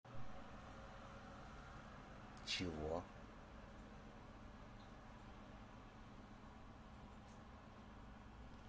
чего